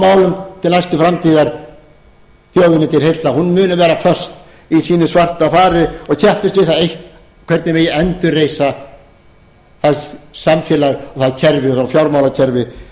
til næstu framtíðar þjóðinni til heilla hún muni vera föst í sínu svarta fari og keppist við það eitt hvernig megi endurreisa það samfélag og það fjármálakerfi